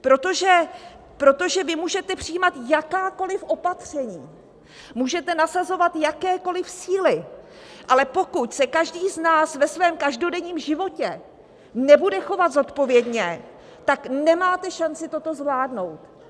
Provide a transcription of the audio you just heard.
Protože vy můžete přijímat jakákoliv opatření, můžete nasazovat jakékoliv síly, ale pokud se každý z nás ve svém každodenním životě nebude chovat zodpovědně, tak nemáte šanci toto zvládnout.